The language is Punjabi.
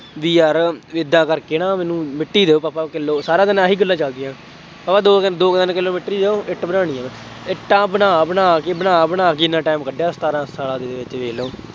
ਬਈ ਯਾਰ ਏਦਾਂ ਕਰਕੇ ਨਾ ਮੈਨੂੰ ਮਿੱਟੀ ਦਿਉ ਪਾਪਾ ਕਿਲੋ ਸਾਰਾ ਦਿਨ ਆਹੀ ਗੱਲਾਂ ਚੱਲਦੀਆਂ। ਪਾਪਾ ਦੋ ਤਿੰਨ ਦੋ ਤਿੰਨ ਕਿਲੋ ਮਿੱਟੀ ਦਿਉ, ਇੱਟ ਬਣਾਉਣੀ ਹੈ ਮੈਂ, ਇੱਟਾਂ ਬਣਾ ਬਣਾ ਕੇ ਬਣਾ ਬਣਾ ਕੇ ਐਨਾ time ਕੱਢਿਆ, ਸੁਖਾਲਾ ਸੁਖਾਲ ਵੇਖ ਲਉ